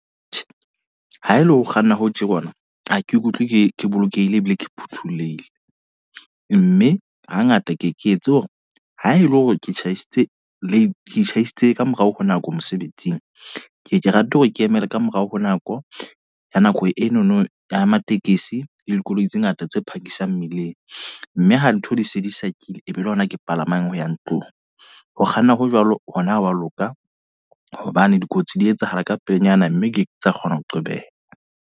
Tjhe, ha e le ho kganna ho tje ke ona. Ha ke ikutlwe ke ke bolokehile ebile ke phuthulehile. Mme hangata ke ke etse hore ha ele hore ke tjhahisitse le tjhaisitse ka morao ho nako mosebetsing. Ke ke rata hore ke emele ka morao ho nako, ha nako enono ya matekesi e dikoloi tse ngata tse phakisang mmileng. Mme ho ntho di se di sa kile e be le hona ke palamang ho ya ntlong. Ho kganna ho jwalo hona ha wa loka. Hobane dikotsi di etsahala ka pelenyana, mme ke ke tsa kgona ho qobeha.